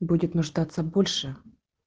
будет нуждаться больше